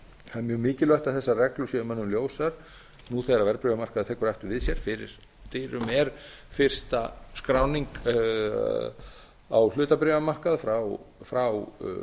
það er mjög mikilvægt að þessar reglur séu mönnum ljósar nú þegar verðbréfamarkaðurinn tekur aftur við sér fyrir dyrum er fyrsta skráning á hlutabréfamarkaði frá